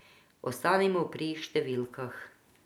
Ostanimo pri številkah.